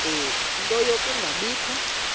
ie nto yokungabikho